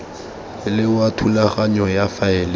le wa thulaganyo ya faele